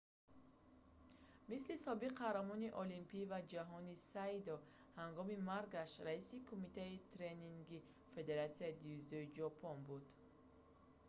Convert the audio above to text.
мисли собиқ қаҳрамони олимпӣ ва ҷаҳонӣ сайто ҳангоми маргаш раиси кумитаи тренингии федератсияи дзюдои ҷопон буд